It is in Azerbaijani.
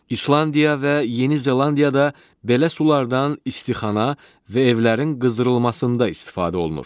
İslandiya və Yeni Zelandiyada belə sularadan istixana və evlərin qızdırılmasında istifadə olunur.